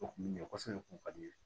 O kun bɛ ɲɛ kosɛbɛ kun ka di n ye